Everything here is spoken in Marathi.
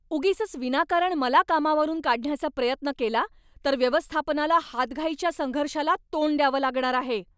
उगीचच विनाकारण मला कामावरून काढण्याचा प्रयत्न केला तर व्यवस्थापनाला हातघाईच्या संघर्षाला तोंड द्यावं लागणार आहे.